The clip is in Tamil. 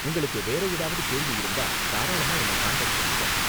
உங்களுக்கு வேற ஏதாவது கேள்வி இருந்தா தாராளமா என்னை காண்டாக்ட் பண்ணுங்க.